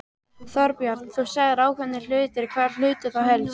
Þorbjörn: Þú sagðir ákveðnir hlutir, hvaða hluti þá helst?